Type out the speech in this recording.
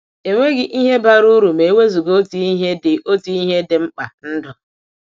Enweghị ihe bara uru ma e wezuga otu ihe dị otu ihe dị mkpa — ndụ.